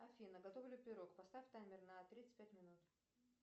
афина готов ли пирог поставь таймер на тридцать пять минут